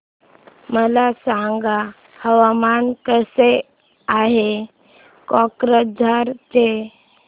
मला सांगा हवामान कसे आहे कोक्राझार चे